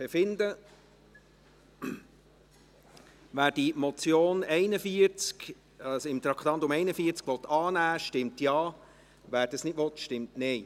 Wer die Motion unter Traktandum 41 annehmen will, stimmt Ja, wer das nicht will, stimmt Nein.